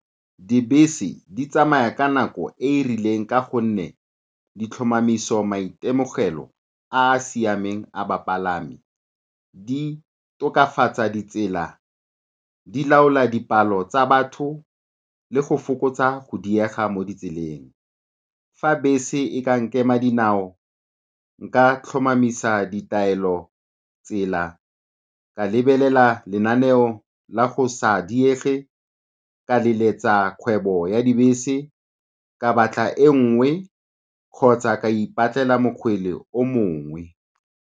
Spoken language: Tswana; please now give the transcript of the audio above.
Dibese di tsamaya ka nako e e rileng ka gonne di tlhomamisa maitemogelo a a siameng a bapalami, di tokafatsa ditsela, di laola dipalo tsa batho le go fokotsa go diega mo ditseleng. Fa bese e ka nkema dinao nka tlhomamisa ditaelotsela, ka lebelela lenaneo la go sa diege, ka leletsa kgwebo ya dibese, ka batla e nngwe kgotsa ka ipatlela mokgwele o mongwe.